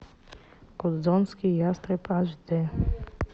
гудзонский ястреб аш дэ